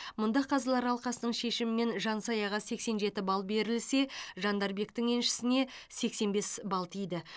мұнда қазылар алқасының шешімімен жансаяға сексен жеті балл берілсе жандарбектің еншісіне сексен бес балл тиді